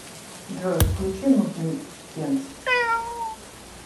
джой включи нудный пенс